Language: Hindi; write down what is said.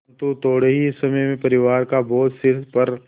परन्तु थोडे़ ही समय में परिवार का बोझ सिर पर